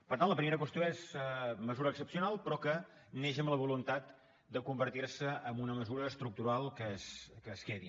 per tant la primera qüestió és mesura excepcional però que neix amb la voluntat de convertir se en una mesura estructural que es quedi